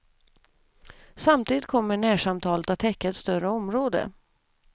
Samtidigt kommer närsamtalet att täcka ett större område.